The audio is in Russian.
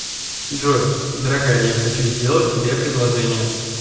джой дорогая я хочу сделать тебе предложение